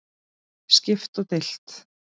Skipt og deilt